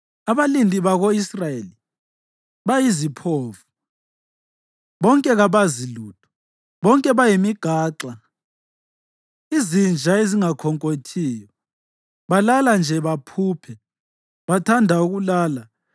Abalindi bako-Israyeli bayiziphofu, bonke kabazi lutho; bonke bayimigaxa, izinja ezingakhonkothiyo; balala nje baphuphe; bathanda ukulala.